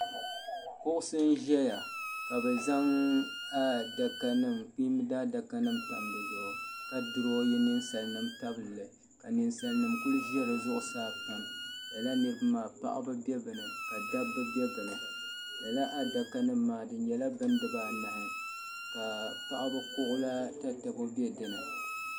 Kuɣisi n-zaya ka bɛ zaŋ ɛɛh kpiimba daadakanima tam di zuɣu ka duronyi ninsalinima tabili li ka ninsalinima kuli za di zuɣusaa pam. Lala niriba maa paɣiba be bɛ ni ka dabba be bɛ ni. Lala adakanima maa di nyɛla bindibaanahi ka paɣiba kuɣu la tatabo be di ni.